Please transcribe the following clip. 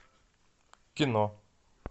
кино